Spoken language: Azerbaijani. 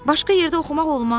Başqa yerdə oxumaq olmaz?